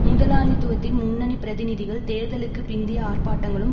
முதலாளித்துவத்தின் முன்னணி பிரதிநிதிகள் தேர்தலுக்கு பிந்திய ஆர்ப்பாட்டங்களும்